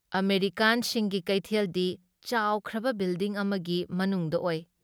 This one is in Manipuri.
ꯑꯃꯦꯔꯤꯀꯥꯟꯁꯤꯡꯒꯤ ꯀꯩꯊꯦꯜꯗꯤ ꯆꯥꯎꯈ꯭ꯔꯕ ꯕꯤꯜꯗꯤꯡ ꯑꯃꯒꯤ ꯃꯅꯨꯡꯗ ꯑꯣꯏ ꯫